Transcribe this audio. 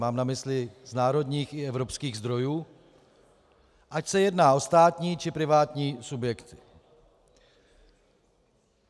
Mám na mysli z národních i evropských zdrojů, ať se jedná o státní, či privátní subjekty.